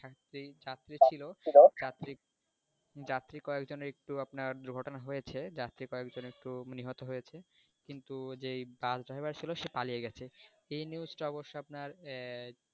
সেই যাত্রী ছিল যাত্রী কয়েকজনের একটু আপনার দুর্ঘটনা হয়েছে যে কয়েকজন একটু মানে নিহত হয়েছে কিন্তু যেই bus driver ছিল সে পালিয়ে গেছে এই news টা অবশ্য আপনার আহ